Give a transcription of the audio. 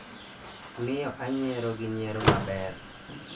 miyo anyiero gi nyiero maber